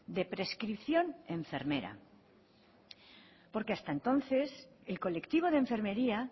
de prescripción enfermera porque hasta entonces el colectivo de enfermería